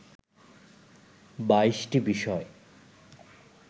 ২২টি বিষয়